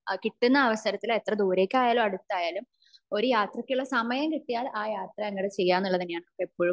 കിട്ടുന്ന അവസരത്തിൽ എത്ര ദൂരെക്കയാലും അടുതായാലും ഒരു യാത്രക്കുള്ള സമയം കിട്ടിയ അഹ് യാത്ര ചെയ്യാ എന്നുള്ളത് തന്നെയാണ് എപ്പോഴും